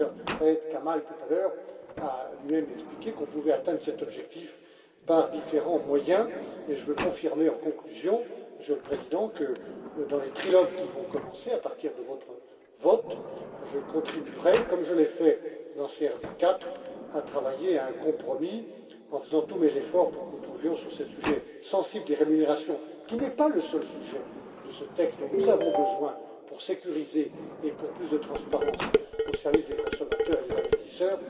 D'ailleurs, Syed Kamall, tout à l'heure, a lui même expliqué que nous pouvions atteindre cet objectif par différents moyens. De plus, je veux confirmer, en conclusion, Monsieur le Président, que dans les trilogues qui vont commencer, à partir de votre vote, je contribuerai comme je l'ai fait dans CRD IV à travailler à un compromis, en faisant tous les efforts pour que nous trouvions sur ce sujet sensible des rémunérations qui n'est pas le seul sujet de ce texte dont nous avons besoin pour sécuriser et améliorer la transparence au service des consommateurs et des investisseurs,